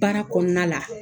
Baara kɔnɔna la